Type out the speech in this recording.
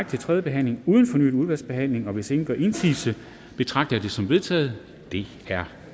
til tredje behandling uden fornyet udvalgsbehandling hvis ingen gør indsigelse betragter jeg det som vedtaget det er